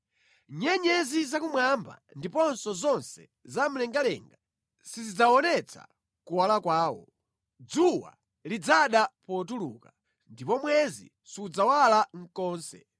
Nyenyezi zakumwamba ndiponso zonse zamlengalenga sizidzaonetsa kuwala kwawo. Dzuwa lidzada potuluka, ndipo mwezi sudzawala konse.